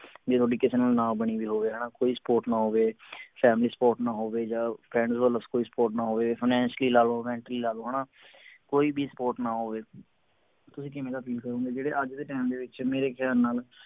ਜੇ ਤੁਹਾਡੀ ਕਿਸੇ ਨਾਲ ਨਾ ਬਣੀ ਹੋਈ ਹੋਵੇ ਕੋਈ support ਨਾ ਹੋਵੇ family support ਨਾ ਹੋਵੇ ਜਾ friends ਵੱਲੋਂ ਕੋਈ support ਨਾ ਹੋਵੇ ਜਾ finacially ਲਾ ਲਓ mentally ਲਾ ਲਓ ਕੋਈ ਵੀ support ਨਾ ਹੋਵੇ ਤੁਸੀਂ ਕਿਵੇਂ ਦਾ feel ਕਰੋਂਗੇ ਜਿਹੜੇ ਅੱਜ ਦੇ ਟੈਮ ਦੇ ਵਿਚ ਮੇਰੇ ਖਿਆਲ ਨਾਲ